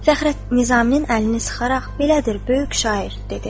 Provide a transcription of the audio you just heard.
Fəxrəddin Nizaminin əlini sıxaraq: belədir, böyük şair, dedi.